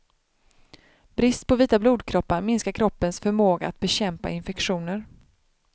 Brist på vita blodkroppar minskar kroppens förmåga att bekämpa infektioner.